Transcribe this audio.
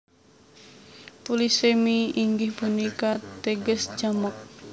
Polisemi inggih punika teges jamak